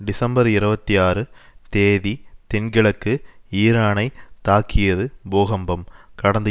December இருபத்தி ஆறு தேதி தென்கிழக்கு ஈரானைத் தாக்கியது பூகம்பம் கடந்த